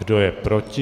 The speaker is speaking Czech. Kdo je proti?